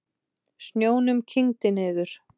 Snjónum kyngdi niður.